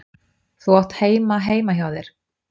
Þú átt heima heima hjá þér!